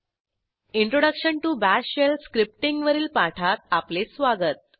introduction to bash shell scriptingवरील पाठात आपले स्वागत